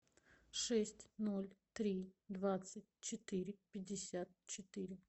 шесть ноль три двадцать четыре пятьдесят четыре